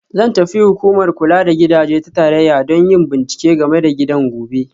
Zan tafi Hukumar Kula da Gidaje ta Tarayya don yin bincike game da gidan gobe